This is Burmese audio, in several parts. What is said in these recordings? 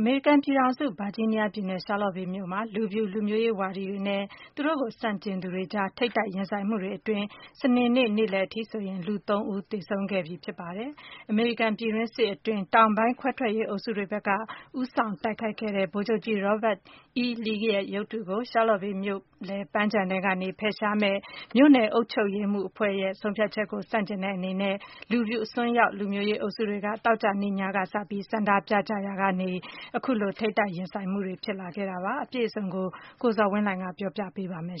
အမေရိကန်ပြည်ထောင်စု၊ Virginia ပြည်နယ်၊ Charlottesville မြို့မှာ ဖြစ်ပေါ်နေတဲ့ လူဖြူ လူမျိုးရေးဝါဒီတွေနဲ့ သူတို့ကို ဆန့်ကျင်သူတွေ အကြားက ထိပ်တိုက်ရင်ဆိုင် မှုတွေကြောင့် စနေနေ့ နေ့လည်က လူ ဦး သေဆုံးသွားပြီ ဖြစ်ပါတယ်။ Charlottesville မြို့လယ် ပန်းခြံအတွင်းမှာ ရှိနေတဲ့ အမေရိကန်ပြည်တွင်းစစ်အတွင်း တောင်ပိုင်းခွဲထွက်ရေး အုပ်စုတွေဘက်က ဦးဆောင်တိုက်ခိုက်ခဲ့တဲ့ ဗိုလ်ချုပ်ကြီး Robert E. Lee ရဲ့ ရုပ်ထုကို ဖယ်ရှားမယ့် မြို့နယ် အုပ်ချုပ်ရေးအဖွဲ့ဲရဲ့ ဆုံးဖြတ်ချက်ကို ဆန့်ကျင်တဲ့ အနေနဲ့ လူဖြူအစွန်းရောက် လူမျိုးရေးအုပ်စုတွေက ဆန္ဒပြကြရာက သောကြာနေ့ ညကစလို့ ထိပ်တိုက် ရင်ဆိုင်မှုတွေ ဖြစ်ပေါ်ခဲ့တာပါ။ အပြည့်အစုံကိုတော့ ကိုဇော်ဝင်းလှိုင်က တင်ပြပေးပါမယ်။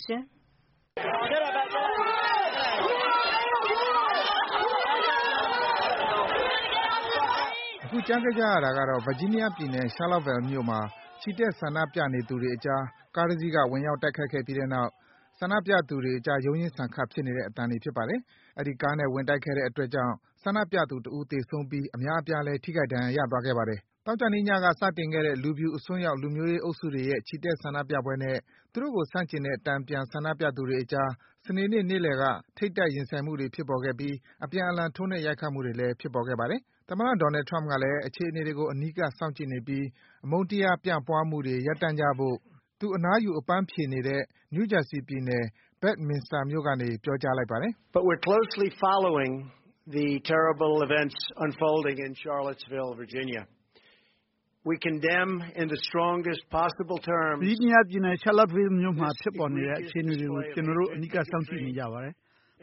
အခုကြားခဲ့ကြရတာကတော့ Virginia ပြည်နယ်၊ Charlottesville မြို့မှာ ချီတက် ဆန္ဒပြနေသူတွေအကြား ကားတစီးက ဝင်ရောက် တိုက်ခိုက်ပြီးတဲ့နောက် ဆန္ဒပြသူတွေ အကြား ရုန်းရင်းဆန်ခတ် ဖြစ်နေတဲ့ အသံတွေ ဖြစ်ပါတယ်။ အဲဒီကားနဲ့ ဝင်တိုက်ခဲ့တဲ့ အတွက်ကြောင့် ဆန္ဒပြသူ ဦး သေဆုံးပြီး အများအပြား ထိခိုက် ဒဏ်ရာသွားရ ခဲ့ပါတယ်။ သောကြာနေ့ညက စတင်ခဲ့တဲ့ လူဖြူ အစွန်းရောက် လူမျိုးရေးအုပ်စုတွေရဲ့ ချီတက် ဆန္ဒပြပွဲနဲ့ သူတို့ကို ဆန့်ကျင်တဲ့ တန်ပြန် ဆန္ဒပြသူတွေ အကြား စနေနေ့ နေ့လည်က ထိပ်တိုက် ရင်ဆိုင်မှုတွေဖြစ်ပေါ်ခဲ့ပြီး အပြန်အလှန် ထိုးနှက် ရိုက်ခတ်မှုတွေလည်း ဖြစ်ပေါ်ခဲ့ပါတယ်။ သမ္မတ Donald Trump ကလည်း အခြေအနေတွေကို အနီးကပ် စောင့်ကြည့်နေပြီး အမုန်းတရား ပြန့်ပွားမှုတွေ ရပ်တန့်ကြဖို့ သူအနားယူ အပန်းဖြေနေတဲ့ New Jersey ပြည်နယ်၊ Bedminster မြို့ကနေ ပြောကြားလိုက်ပါတယ်။ “Virginia ပြည်နယ်၊ Charlottesville မြို့မှာ ဖြစ်ပေါ်နေတဲ့ အခြေအနေတွေကို ကျနော်တို့ အနီးကပ် စောင့်ကြည့်နေကြပါတယ်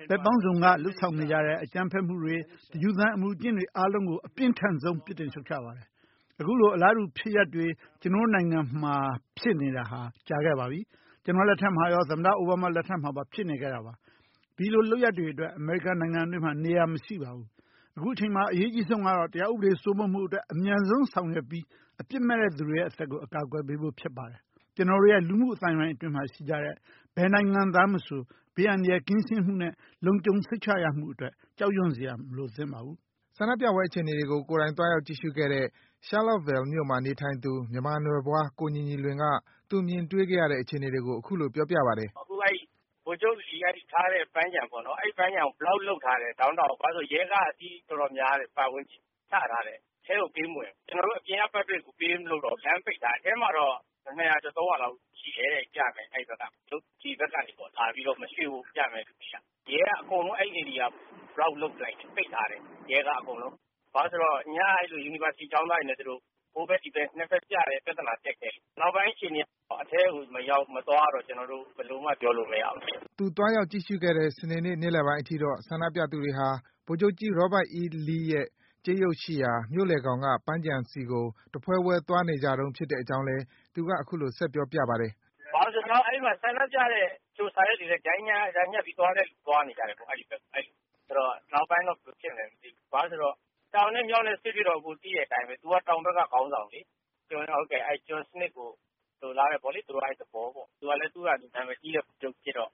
။ ဘက်ပေါင်းစုံကနေ လုပ်ဆောင်နေ ကြတဲ့ အကြမ်းဖက်မှုတွေ၊ တယူသန် အမူအကျင့်တွေ အားလုံးကို အပြင်းထန်ဆုံး နည်းလမ်းနဲ့ ပြစ်တင် ရှုတ်ချပါတယ်။ အခုလို အလားတူ ဖြစ်ရပ်တွေ ကျနော်တို့နိုင်ငံ အတွင်းမှာ ဖြစ်ပေါ်နေတာ ကြာခဲ့ပြီ၊ ကျနော့်လက်ထက်မှာရော၊ သမ္မတ အိုဘားမား လက်ထက်မှာပါ ဖြစ်နေခဲ့တာပါ။ ဒီလိုလုပ်ရပ်တွေအတွက် အမေရိကန်နိုင်ငံအတွင်းမှာ နေရာ မရှိပါဘူး။ အခုချိန်မှာ အရေးအကြီးဆုံးကတော့ တရားဥပဒေ စိုးမိုးမှုအတွက် အမြန်ဆုံး ဆောင်ရွက်ပြီး အပြစ်မဲ့သူတွေရဲ့ အသက်ကို အကာကွယ်ပေးဖို့ ဖြစ်ပါတယ်။ ကျနော်တို့ရဲ့ လူမှုအသိုင်းဝိုင်းအတွင်းမှာ ရှိကြတဲ့ ဘယ်နိုင်ငံသားမဆို ဘေးန္တရာယ် ကင်းရှင်းမှုနဲ့ လုံခြုံစိတ်ချရမှုအတွက် ကြောက်ရွံ့စရာ မလိုသင့်ပါဘူး။” ဆန္ဒပြပွဲ အခြေအနေတွေကို ကိုယ်တိုင် သွားရောက် ကြည့်ရှုခဲ့တဲ့ Charlottesville မြို့မှာ နေထိုင်သူ မြန်မာနွယ်ဖွား ကိုညီညီလွင်က သူမြင်တွေ့ခဲ့ရတဲ့ အခြေအနေတွေကို အခုလို ပြောပြပါတယ်။ “အခု ဗိုလ်ချုပ်ကြီး Lee ထားတဲ့ ပန်းခြံပေါ့နော်၊ အဲဒီပန်းခြံကို Block ထားတယ်၊ Downtown ကို။ ဘာဖြစ်လို့လဲ ဆိုတော့ ရဲကားက အစီး တော်တော် များတယ်၊ ပတ်ဝန်းကျင်းမှာ ချထားတာ။ အထဲကို ပေးမဝင်ဘူး။ ကျနော်တို့ အပြင်က Public ပေးမဝင်တော့ဘူး။ အထဲမှာတော့ ၂၀၀ ရာကျော်၊ ၃၀၀ လောက် ရှိတယ်တဲ့၊ ပြမယ့်သူ၊ အဲဒီဘက်က၊ ရုပ်ထုကြီး မရွေ့ဘို့ ပြမယ့်သူတွေက။ ရဲက အဲဒီနေရာကို အကုန်လုံး ပိတ်ထားတယ်။ ဘာဖြစ်လို့လဲဆိုတော့ ညက University ကျောင်းသားတွေနဲ့ သူတို့ ဟိုဘက်၊ ဒီဘက်ပြတယ်၊ နှစ်ဘက်ပြတယ်၊ ပြဿနာ တက်ခဲ့တယ်။ နောက်ပိုင်း အခြေအနေက အထဲကို မသွားရတော့ ကျနော်တို့ ဘယ်လိုမှ ပြောလို့မရဘူး ဖြစ်နေတယ်။” သူသွားရောက် ကြည့်ရှုခဲ့တဲ့ စနေနေ့ နေ့လည်ပိုင်းအထိတော့ ဆန္ဒပြသူတွေဟာ ဗိုလ်ချုပ်ကြီး Robert E. Lee ရဲ့ ကြေးရုပ်ရှိရာ မြို့လယ်ခေါင်က ပန်းခြံဆီကို တဖွဲဖွဲ သွားနေကြတုန်း ဖြစ်တဲ့အကြောင်းလည်း သူက အခုလို ဆက်ပြောပြပါတယ်။ “အဲဒီမှာ ဆန္ဒပြတဲ့၊ စာရွက်တွေ ချိုင်းကြားညှပ်ပြီးသွားတဲ့လူ သွားနေကြတယ်၊ အဲဒီဘက်ကို။ နောက်ပိုင်းတော့ ဘယ်လိုဖြစ်မလဲ မသိဘူး။ ဘာဖြစ်လို့လဲဆိုတော့ တောင်နဲ့ မြောက်နဲ့စစ်ဖြစ်တော့ အကိုသိတဲ့အတိုင်းပဲ၊ သူက တောင်ဘက်က ခေါင်းဆောင်လေ။ ကျွန်စံနစ်ကို လိုလားတယ်ပေါ့လေ၊ သူက အဲဒီသဘောပေါ့။ သူကလည်း သူ့ဟာသူ နံမည်ကြီးတဲ့ ဗိုလ်ချုပ်ကြီးဖြစ်တော့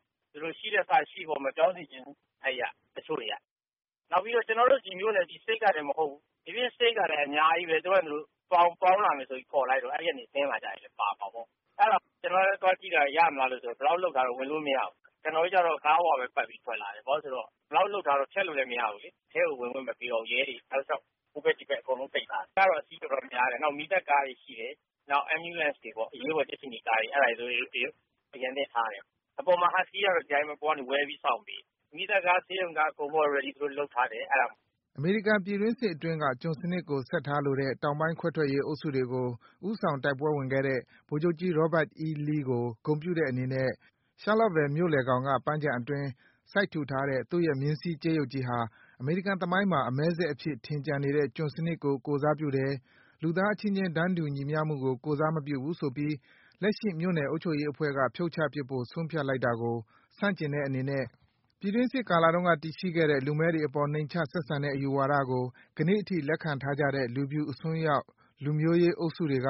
ရှိလက်စ ရှိပေါ့၊ မပြောင်းစေချင်ဘူး၊ တချို့တွေက။ နောက်ပြီးတော့ ကျနော်တို့ ဒီမြို့နယ်၊ ဒီ State ကတင် မဟုတ်ဘူး၊ ဒိပြင် State ကလည်း အများကြီးဘဲ၊ သူတို့ဟာသူတို့ ပေါင်းလာမယ်ဆိုပြီး ခေါ်လိုက်တော့ အဲဒီကနေ ဆင်းလာကြတာတွေလည်း ပါမှာပေါ့။ အဲဒါ ကျနော်တို့လည်း သွားကြည့်တာ၊ ရမလားဆိုပြီး၊ Block ထားတော့ ကျနော်တို့လည်း ဝင်လို့မရဘူး။ ကျနော်တို့ကျတော့ ကားပေါ်ကပဲ ပတ်ပြီးတော့ ထွက်လာတယ်။ ဘာဖြစ်လို့လည်းဆိုတော့ Block လုပ်ထားတော့ ဆက်လို့လည်း မရဘူးလေ။ အထဲကို ဝင်ခွင့်မပေးတော့ ရဲတွေ တောက်လျှောက် ဟိုဘက် ဒီဘက် အကုန်လုံး ပိတ်ထားတယ်။ ရဲကတော့ အစီးတော်တော်များတယ်။ နောက် မီးသတ်ကားတွေ ရှိတယ်၊ နောက် Ambulance ကားတွေပေါ့၊ အရေးပေါ် ကြက်ခြေနီကားတွေ။ အဲဒါတွေ သူတို့ အရန်သင့်ထားတယ်။ အပေါ်မှာ ဟတ်စကီးကတော့ အပေါ်ကနေ ဝဲပြီး စောင့်ပေးနေတယ်။ မီးသတ်ကား၊ ဆေးရုံကား သူတို့ အကုန် Ready လုပ်ထားတယ်၊ အဲဒါမျိုး။” အမေရိကန် ပြည်တွင်းစစ်အတွင်းက ကျွန်စံနစ်ကို ဆက်ထားလိုတဲ့ တောင်ပိုင်း ခွဲထွက်ရေး အုပ်စုတွေကို ဦးဆောင် တိုက်ပွဲဝင်ခဲ့တဲ့ ဗိုလ်ချုပ်ကြီး Robert E. Lee ကို ဂုဏ်ပြုတဲ့အနေနဲ့ Charlottesville မြို့လယ်ခေါင်က ပန်းခြံအတွင်း စိုက်ထူထားတဲ့ သူ့ရဲ့ မြင်းစီး ကြေးရုပ်ကြီးဟာ အမေရိကန်သမိုင်းမှာ အမည်းစက်အဖြစ် ထင်ကျန်နေတဲ့ ကျွန်စနစ်ကို ကိုယ်စားပြုတယ်၊ လူသားအချင်းချင်း တန်းတူ ညီမျှမှုကို ကိုယ်စားမပြုဘူး ဆိုပြီး လက်ရှိ မြို့နယ် အုပ်ချုပ်ရေးအဖွဲ့က ဖြုတ်ချပစ်ဖို့ ဆုံးဖြတ်လိုက်တာကို ဆန့်ကျင်တဲ့ အနေနဲ့ ပြည်တွင်းစစ် ကာလတုန်းက တည်ရှိခဲ့တဲ့ လူမည်းတွေအပေါ် နှိမ်ချ ဆက်ဆံတဲ့ အယူဝါဒကို ကနေ့အထိ လက်ခံထားတဲ့ လူဖြူ အစွန်းရောက် လူမျိုးရေးအုပ်စုတွေက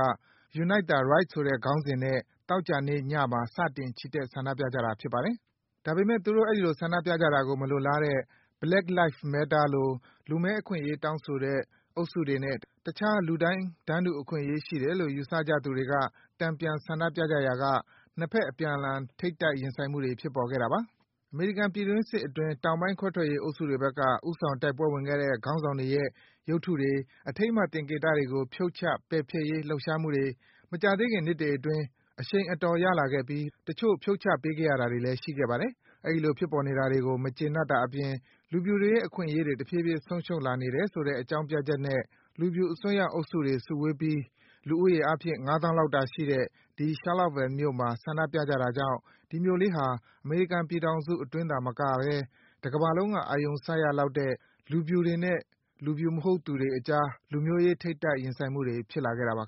Unite the Right ဆိုတဲ့ ခေါင်းစဉ်နဲ့ သောကြာနေ့ညမှာ စတင် ချီတက် ဆန္ဒပြကြတာ ဖြစ်ပါတယ်။ ဒါပေမယ့် သူတို့ အဲဒီလို ဆန္ဒပြတာကို မလိုလားတဲ့ Black Life Matter လို လူမည်း အခွင့်အရေး တောင်းဆိုတဲ့ အုပ်စုတွေနဲ့ တခြား လူတိုင်း တန်းတူအခွင့်အရေး ရှိတယ်လို့ ယူဆကြသူတွေက တန်ပြန် ဆန္ဒပြကြရာက နှစ်ဖက် အပြန်အလှန် တိုက်ခိုက်မှုတွေ ဖြစ်ပေါ်ခဲ့တာပါ။ အမေရိကန် ပြည်တွင်းစစ်အတွင်း တောင်ပိုင်း ခွဲထွက်ရေးအုပ်စုတွေဘက်က ဦးဆောင် တိုက်ပွဲဝင်ခဲ့တဲ့ ခေါင်းဆောင်တွေရဲ့ ရုပ်ထုတွေ၊ အထိမ်းအမှတ် သင်္ကေတတွေကို ဖြုတ်ချ၊ ပယ်ဖျက်ရေး လှုပ်ရှားမှုတွေ မကြာသေးခင် နှစ်တွေအတွင်း အရှိန်အတော်ရလာခဲ့ပြီး တချို့ ဖြုတ်ချပေးခဲ့ရတာတွေလည်း ရှိခဲ့ပါတယ်။ အဲဒီလို ဖြစ်ပေါ်နေတာတွေ မကျေနပ်တာအပြင် လူဖြူတွေရဲ့ အခွင့်အရေးတွေ တဖြည်းဖြည်း ဆုံးရှုံးလာနေတယ်ဆိုတဲ့ အကြောင်းပြချက်နဲ့ လူဖြူ အစွန်းရောက်တွေ စုဝေးပြီး လူဦးရေအားဖြင့် ၅ သောင်းလောက်တာရှိတဲ့ ဒီ Charlottesville မြို့မှာ ဆန္ဒပြကြတာကြောင့် ဒီမြို့ကလေးဟာ အမေရိကန်ပြည်ထောင်စုအတွင်းသာမကပဲ တကမ္ဘာလုံးက အာရုံစိုက်ရလောက်တဲ့ လူဖြူတွေနဲ့ လူဖြူမဟုတ်သူတွေ အကြား လူမျိုးရေး ထိပ်တိုက်ရင်ဆိုင်မှု ဖြစ်လာခဲ့တာပါ ခင